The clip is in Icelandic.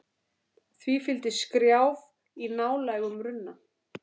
Því fylgdi skrjáf í ná lægum runna.